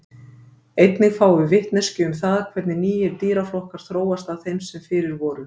Einnig fáum við vitneskju um það hvernig nýir dýraflokkar þróast af þeim sem fyrir voru.